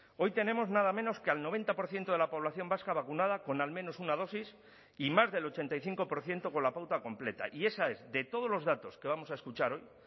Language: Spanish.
hoy tenemos nada menos que al noventa por ciento de la población vasca vacunada con al menos una dosis y más del ochenta y cinco por ciento con la pauta completa y esa es de todos los datos que vamos a escuchar hoy